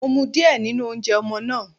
Mo mu díẹ̀ nínú oúnjẹ ọmọ náà.